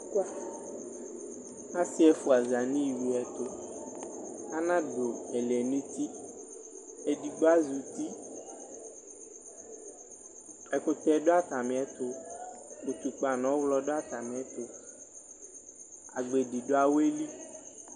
Asiɛfua zaniwiɛtuAnadu ɛlɛnutiedigbo azutiƐkutɛ duatamiɛtuUtukpa nɔɣlɔ duatamiɛtuAgbedi duawɛli